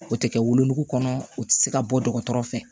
O tɛ kɛ wolonugu kɔnɔ o tɛ se ka bɔ dɔgɔtɔrɔ fɛ